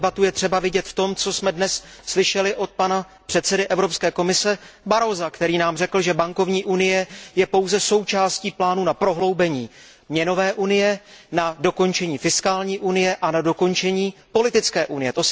A tu debatu je třeba vidět v tom, co jsme dnes slyšeli od pana předsedy Evropské komise Barrosa, který nám řekl, že bankovní unie je pouze součástí plánu na prohloubení měnové unie, na dokončení fiskální unie a na dokončení politické unie.